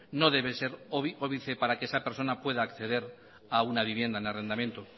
no debe ser óbice para que esa persona pueda acceder a una vivienda en arrendamiento